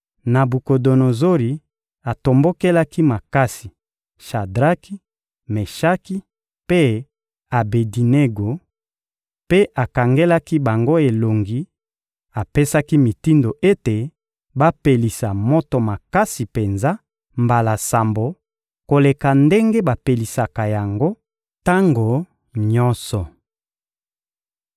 Nabukodonozori atombokelaki makasi Shadraki, Meshaki mpe Abedinego, mpe akangelaki bango elongi; apesaki mitindo ete bapelisa moto makasi penza mbala sambo koleka ndenge bapelisaka yango tango nyonso.